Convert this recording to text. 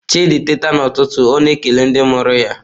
Chidị teeta n’ụtụtụ, ọ na-ekele ndị mụrụ ya.